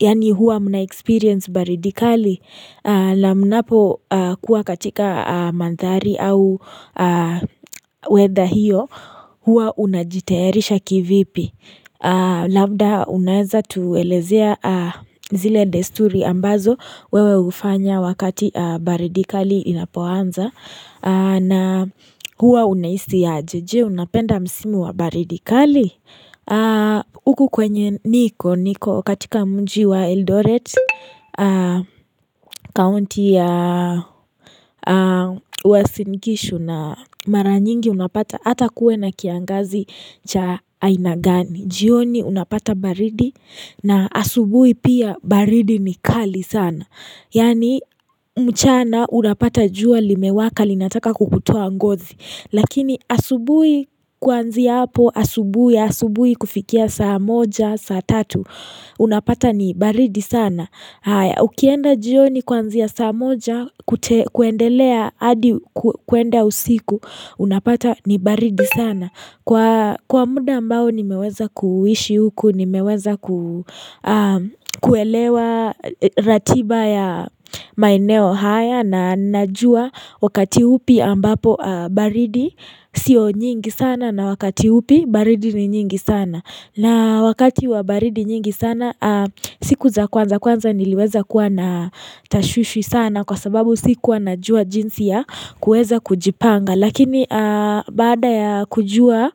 Yaani huwa mnaexperience baridi kali. Na mnapokuwa katika mandhari au weather hiyo huwa unajitayarisha kivipi. Labda unaeza tuelezea zile desturi ambazo wewe hufanya wakati baridi kali inapoanza na huwa unahisi aje. Je unapenda msimu wa baridi kali. Huku kwenye niko, niko katika mji wa Eldoret, county ya Uasin gishu na maranyingi unapata hata kuwe na kiangazi cha aina gani, jioni unapata baridi na asubuhi pia baridi ni kali sana Yaani mchana unapata jua limewaka linataka kukutoa ngozi Lakini asubuhi kuanzia hapo, asubuhi, asubuhi kufikia saa moja, saa tatu Unapata ni baridi sana Ukienda jioni kuanzia saa moja, kuendelea, hadi kuenda usiku Unapata ni baridi sana Kwa muda ambao nimeweza kuishi huku, nimeweza kuelewa ratiba ya maeneo haya na najua wakati upi ambapo baridi sio nyingi sana na wakati upi baridi ni nyingi sana na wakati wa baridi nyingi sana siku za kwanza kwanza niliweza kuwa na tashwishi sana kwa sababu sikuwa najua jinsi ya kuweza kujipanga lakini baada ya kujua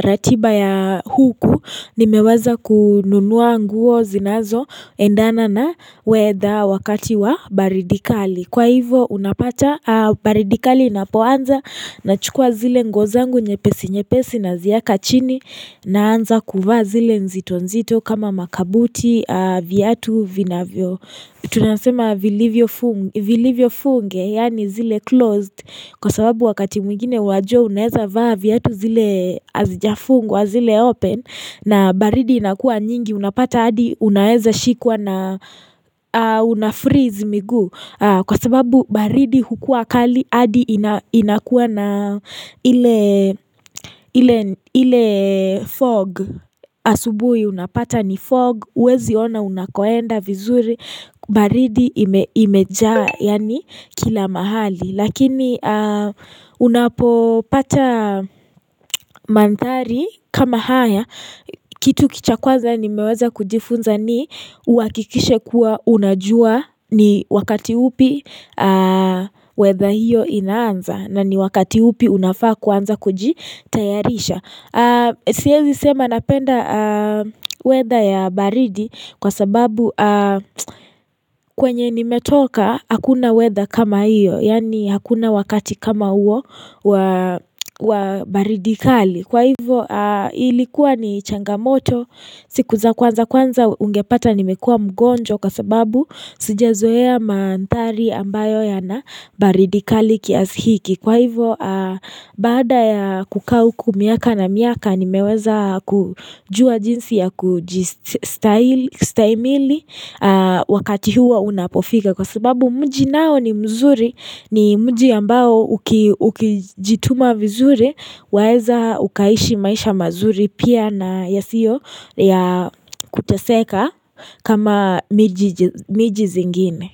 ratiba ya huku nimeweza kununua nguo zinazoendana na weather wakati wa baridi kali. Kwa hivo unapata baridi kali inapoanza, Nachukua zile nguo zangu nyepesi nyepesi nazieka chini Naanza kuvaa zile nzito nzito kama makabuti viatu vinavyo Tunasema vilivyo funge yaani zile closed Kwa sababu wakati mwingine wajua unaeza vaa viatu zile hazijafungwa zile open na baridi inakuwa nyingi unapata hadi unaeza shikwa na una freeze miguu Kwa sababu baridi hukua kali hadi inakuwa na ile fog asubuhi unapata ni fog huwezi ona unakoenda vizuri baridi imejaa yaani kila mahali Lakini unapopata madhari kama haya, kitu cha kwanza nimeweza kujifunza ni uhakikishe kuwa unajua ni wakati upi weather hiyo inaanza na ni wakati upi unafaa kuanza kujitayarisha siezi sema napenda weather ya baridi kwa sababu kwenye nimetoka hakuna weather kama iyo Yaani hakuna wakati kama huo wa baridi kali Kwa hivo ilikuwa ni changamoto siku za kwanza kwanza ungepata nimekuwa mgonjwa Kwa sababu sijezoea mandhari ambayo yana baridi kali kiasi hiki Kwa hivyo, baada ya kukaa huku miaka na miaka, nimeweza kujua jinsi ya kujistahimili wakati huwa unapofika. Kwa sababu mji nao ni mzuri, ni mji ambao ukijituma vizuri, waeza ukaishi maisha mazuri pia na yasiyo ya kuteseka kama miji zingine.